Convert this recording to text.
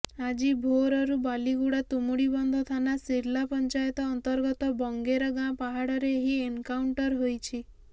ଆଜି ଭୋରରୁ ବାଲିଗୁଡା ତୁମୁଡ଼ିବନ୍ଧ ଥାନା ସିର୍ଲା ପଞ୍ଚାୟତ ଅନ୍ତର୍ଗତ ବଙ୍ଗେର ଗାଁ ପାହଡ଼ରେ ଏହି ଏନକାଉଣ୍ଟର ହୋଇଛି